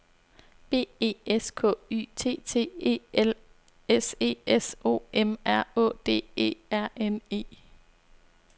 B E S K Y T T E L S E S O M R Å D E R N E